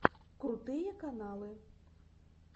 крутые каналы